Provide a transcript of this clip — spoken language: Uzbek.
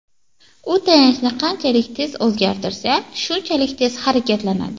U tayanchni qanchalik tez o‘zgartirsa, shunchalik tez harakatlanadi.